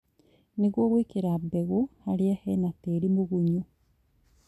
nĩguo gwĩkĩra mbegũ harĩa hena tĩri mũgunyu